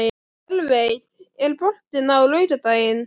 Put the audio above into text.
Ölveig, er bolti á laugardaginn?